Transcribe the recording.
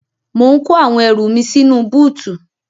Mò ń kó àwọn ẹrù mi sínú búùtù.